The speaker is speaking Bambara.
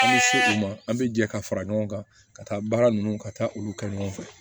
An bɛ se o ma an bɛ jɛ ka fara ɲɔgɔn kan ka taa baara ninnu ka taa olu kɛ ɲɔgɔn fɛ